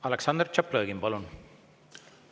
Aleksandr Tšaplõgin, palun!